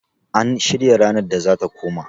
an shirya ranar da za ta koma?